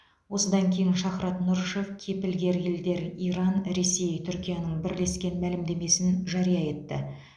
осыдан кейін шахрат нұрышев кепілгер елдер иран ресей түркияның бірлескен мәлімдемесін жария етті